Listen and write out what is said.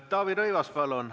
Taavi Rõivas, palun!